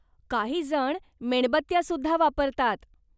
काही जण मेणबत्त्या सुद्धा वापरतात.